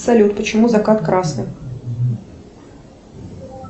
салют почему закат красный